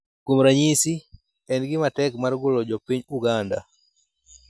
Kuom ranyisi, en gima tek mar golo jo piny Uganda